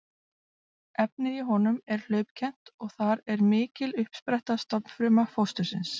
Efnið í honum er hlaupkennt og þar er mikil uppspretta stofnfruma fóstursins.